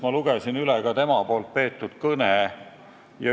Ma lugesin üle tema tookordse kõne.